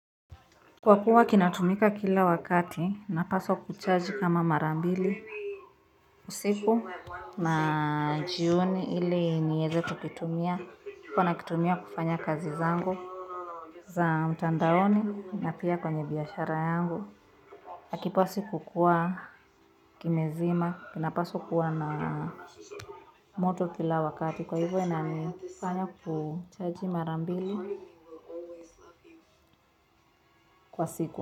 Kwa kuwa kinatumika kila wakati, napaswa kuchaji kama mara mbili. Usiku na jioni ili nieze kukitumia, huwa nakitumia kufanya kazi zangu za mtandaoni na pia kwenye biashara yangu. Hakipaswi kukua kimezima kinapaswa kuwa na moto kila wakati kwa hivyo inanifanya kuchaji mara mbili kwa siku.